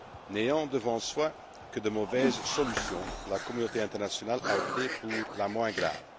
N'ayant devant soi que de mauvaises solutions, la communauté internationale a opté pour la moins grave